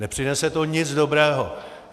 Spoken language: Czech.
Nepřinese to nic dobrého.